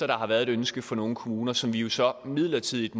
der har været et ønske fra nogle kommuner som vi jo så midlertidigt